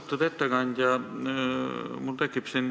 Austatud ettekandja!